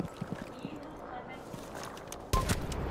игры хомяки